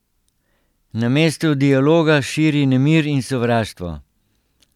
Namesto dialoga širi nemir in sovraštvo.